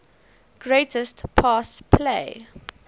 greatest pass play